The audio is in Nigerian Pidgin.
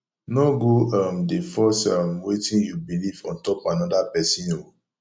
no go um dey force um wetin yu belief on top anoda pesin o